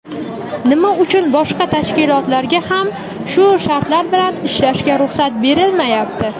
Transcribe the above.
Nima uchun boshqa tashkilotlarga ham shu shartlar bilan ishlashga ruxsat berilmayapti?.